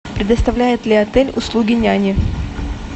предоставляет ли отель услуги няни